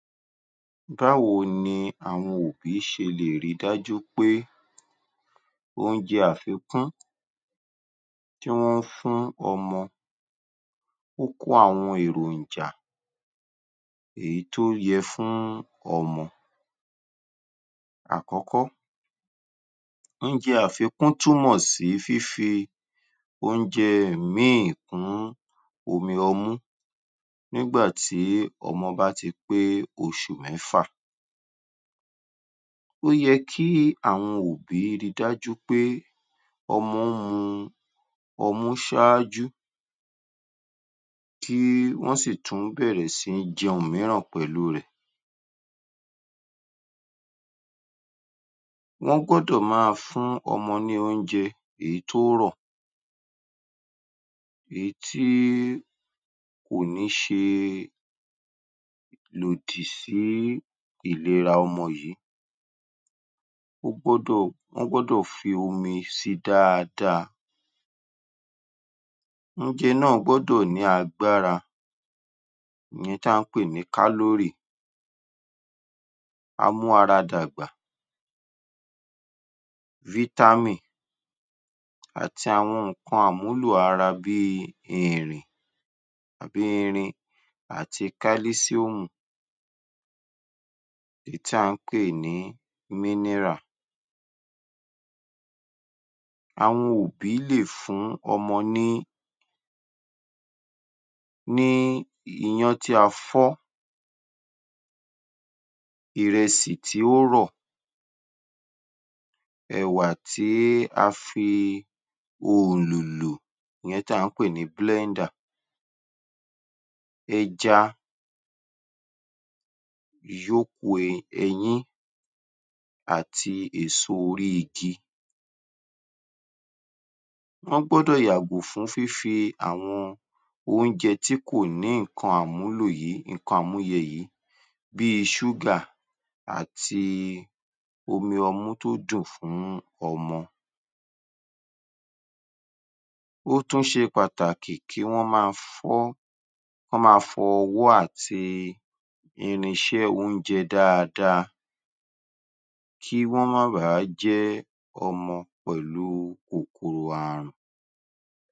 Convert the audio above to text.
Báwo ni àwọn òbí ṣe lè ri dájú pé oúnjẹ àfikún tí wọ́n ń fún ọmọ ó kó àwọn èròjà èyí tó yẹ fún ọmọ? Àkọ́kọ́, oúnjẹ àfikún túnmọ̀ sí fífi oúnjẹ míì kún omi ọmú nígbà tí ọmọ bá ti pé oṣù mẹ́fà. Ó yẹ kí àwọn òbí ri dájú pé ọmọ mu ọmú ṣáájú kí wọ́n sì tún bẹ̀rẹ̀ sí jẹun mìíràn pẹ̀lú rẹ̀. Wọ́n gbọ́dọ̀ máa fún ọmọ ní oúnjẹ èyí tó rọ̀, èyí tí kò ní ṣe lòdì sí ìlera ọmọ yìí. Wọ́n gbọ́dọ̀ wọ́n gbọ́dọ̀ fi omi sí i dáadáa, oúnjẹ náà gbọ́dọ̀ ní agbára èyí tà ń pè ní calory á mú ara dàgbà vitamin àti àwọn nǹkan àmúlò ara bí i ìrìn àbí irin àti calcium èyí tí à ń pè ní mineral. Àwọn òbí lè fún ọmọ ní ní iyán tí a fọ́, ìrẹsì tí ó rọ̀, ẹ̀wà tí a fi oòlò lò ìyẹn tí à ń pè ní blender ẹja àti èso orí igi. Wọ́n gbọ́dọ̀ yàgò fún fífi àwọn oúnjẹ tí kò ní nǹkan àmúlò yìí nǹkan àmúyẹ yìí bí i ṣúgà àti omi ọmú tó dùn fún ọmọ. Ó tún ṣe pàtàkì kí wọ́n máa fọ́ k’ọ́n máa fọ ọwọ́ àti irinṣẹ́ oúnjẹ dáadáa kí wọ́n má bà á jẹ́ ọmọ pẹ̀lú kòkòrò ààrùn.